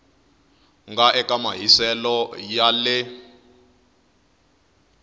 nga eka mahiselo ya le